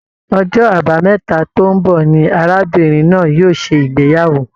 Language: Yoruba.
Ọjọ́ àbámẹ́ta tó n bọ ní arábìnrin náà yóò ṣe ìgbéyàwó.